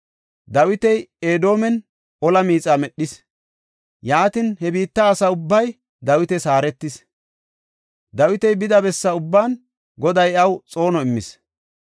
Dawiti Edoomen ola miixa medhis; yaatin, he biitta asa ubbay Dawitas haaretis. Dawiti bida bessa ubban Goday iyaw xoono immis.